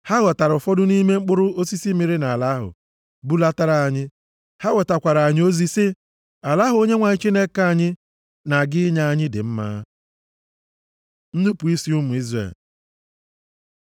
Ha ghọtara ụfọdụ nʼime mkpụrụ osisi mịrị nʼala ahụ, bulatara anyị. Ha wetakwaara anyị ozi, sị, “Ala ahụ Onyenwe anyị Chineke anyị na-aga inye anyị dị mma.” Nnupu isi ụmụ Izrel